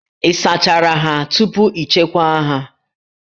Ị sachachara ha tupu ị chekwaa ha